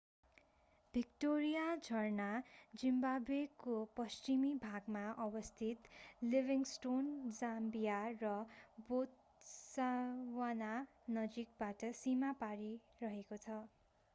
Victoria झरना जिम्बावेको पश्चिमी भागमा अवस्थित लिभिङस्टोन जाम्बिया र बोत्सवानाको नजिकबाट सीमा पारी रहेको छ